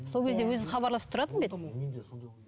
сол кезде өзі хабарласып тұратын ба еді